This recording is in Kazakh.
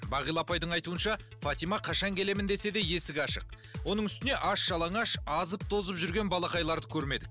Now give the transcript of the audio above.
бағила апайдың айтуынша фатима қашан келемін десе де есік ашық оның үстіне аш жалаңаш азып тозып жүрген балақайларды көрмедік